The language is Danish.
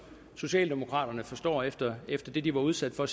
socialdemokraterne forstår efter efter det de var udsat for